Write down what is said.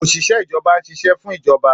Òṣìṣẹ́ ìjọba ń ṣiṣẹ́ fún ìjọba